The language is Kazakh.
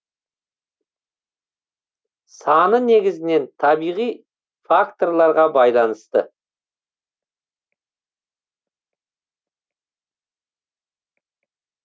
саны негізінен табиғи факторларға байланысты